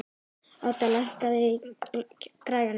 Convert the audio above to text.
Odda, lækkaðu í græjunum.